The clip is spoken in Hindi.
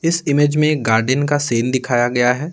इस इमेज में गार्डन का सेन दिखाया गया है।